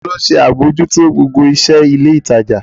Ta ló ń ṣe àbójútó gbogbo iṣẹ́ ilé ìtajà?